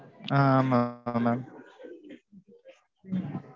ஆஹ் mam ஆஹ் mam